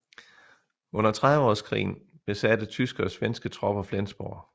Under Trediveårskrigen besatte tyske og svenske tropper Flensborg